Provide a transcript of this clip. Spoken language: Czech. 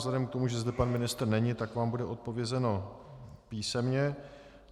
Vzhledem k tomu, že zde pan ministr není, tak vám bude odpovězeno písemně.